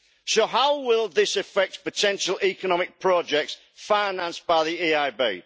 So how will this affect potential economic projects financed by the EIB?